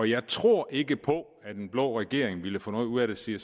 jeg tror ikke på at en blå regering ville få noget ud af det siger